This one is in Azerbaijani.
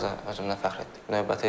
Və biraz özümdən fəxr etdik.